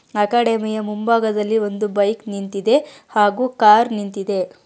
ಅಕಾಡೆಮಿಯ ಮುಂಭಾಗದಲ್ಲಿ ಒಂದು ಬೈಕ್ ನಿಂತಿದೆ ಹಾಗು ಕಾರ್ ನಿಂತಿದೆ.